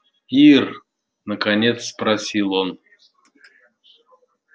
ир наконец спросил он